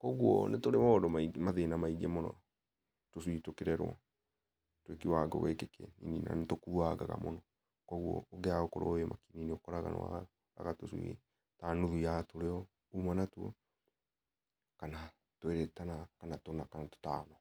kũogũo nĩtũrĩ maũndũ mathĩna maĩngĩ mũno tũcuĩ tũkĩrerwo twĩ kĩwangĩ gĩkĩ nĩtũkũwangaga mũno kũogũo ũngĩaga gũkorwo wĩ makini nĩũkoraga nĩwaga tũcui ta nũthũ ya tũrĩa ũma natũo kana twĩrĩ kana tũna kana tũtano.